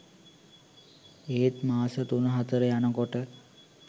ඒත් මාස තුන හතර යනකොට